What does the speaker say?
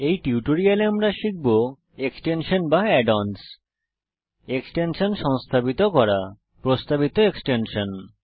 এই টিউটোরিয়ালে আমরা শিখব এক্সটেনশান বা অ্যাড অনস এক্সটেনশান সংস্থাপিত করা প্রস্তাবিত এক্সটেনশান